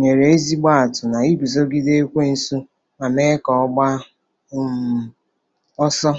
nyere ezigbo atụ na iguzogide Ekwensu ma mee ka ọ gbaa um ọsọ.